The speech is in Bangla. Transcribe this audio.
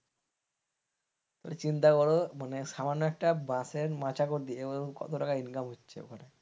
মানে চিন্তা কর মানে সামান্য একটা বাঁশের মাচা করে দিয়ে কত টাকা income হচ্ছে, ওখানে।